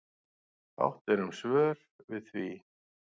Fátt var um svör við því.